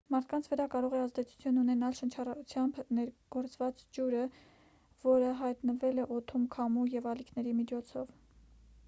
մարդկանց վրա կարող է ազդեցություն ունենալ շնչառությամբ ներգործված ջուրը որը հայտնվել է օդում քամու և ալիքների միջոցով